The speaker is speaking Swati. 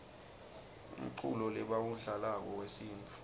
umculo lebawudlalako wesintfu